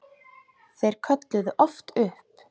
Þeir kölluðu oft upp